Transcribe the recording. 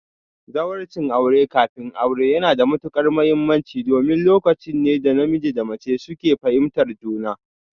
Zawarcin aure kafin aure yana da matuƙar mahimmanci domin lokaci ne da namiji da mace suke fahimtar juna